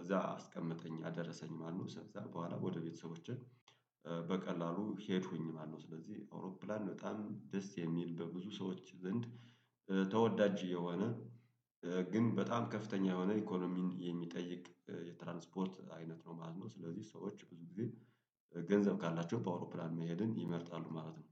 እዛ አስቀመጠኝ አደረሰኝ ማለት ነው። እዛ በኋላ ወደ ቤተሰቦችን በቀላሉ ሄድኩኝ ማነው? ስለዚህ አውሮፕላን በጣም ደስ የሚል በብዙ ሰዎች ዘንድ ተወዳጅ የሆነ ግን በጣም ከፍተኛ የሆነ ኢኮኖሚን የሚጠይቅ የትራንስፖርት አይነት ነው ማለት ነው። ስለዚህ ሰዎች ብዙ ጊዜ ገንዘብ ካላቸው በአውሮፕላን መሄድን ይመርጣሉ ማለት ነው።